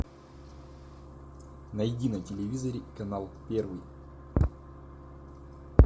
найди на телевизоре канал первый